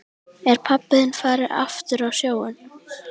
Er pabbi þinn farinn aftur á sjóinn?